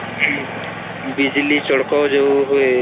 ବିଜଲୀ ଚଡକ ଯୋଉ ହୁଏ'